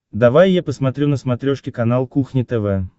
давай я посмотрю на смотрешке канал кухня тв